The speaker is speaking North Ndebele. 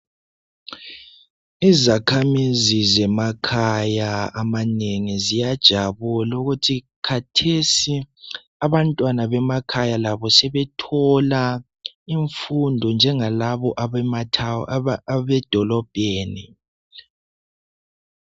Ezakhamizi zemakhaya amanengi ziyajabula ukuthi kathesi abantwana bemakhaya labo sebethola imfundo njengalaba abedolobheni.